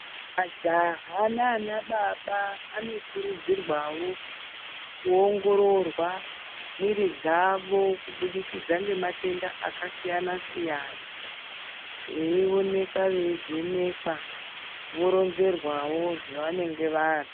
Majaha nana baba anokurudzirwawo kuongororwa mwiri dzavo kubudikidza ngematenda akasiyana-siyana. Veionekwa, veivhenekwa voronzerwawo zvevanenge vari.